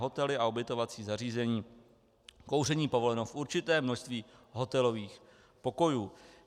Hotely a ubytovací zařízení: kouření povoleno v určitém množství hotelových pokojů.